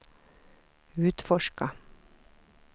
utforska